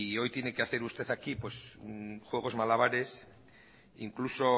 hoy tiene que hacer usted aquí pues juegos malabares incluso